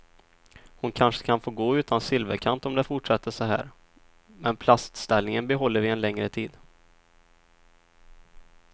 Hon kanske kan få gå utan silverkant om det fortsätter så här, men plastställningen behåller vi en längre tid.